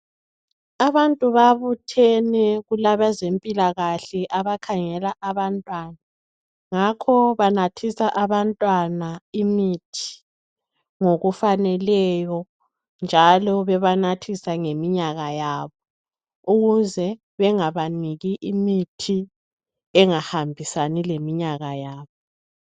Abantu babuthene, kulabezempilakahle abakhangela abantwana, ngakho banathisa abantwana imithi ngokufaneleyo njalo bebanathisa ngeminyaka yabo ukuze bengabaniki imithi engahambisani leminyaka yabo.